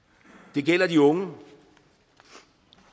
det gælder de unge og